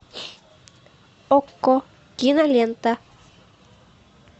окко кинолента